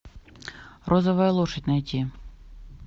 розовая лошадь найти